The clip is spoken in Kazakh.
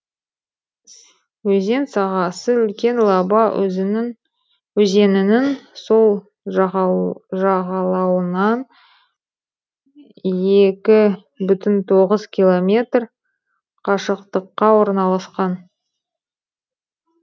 өзен сағасы үлкен лаба өзенінің сол жағалауынан екі бүтін тоғыз километр қашықтыққа орналасқан